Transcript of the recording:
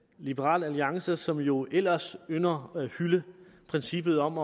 liberal alliance som jo ellers ynder at hylde princippet om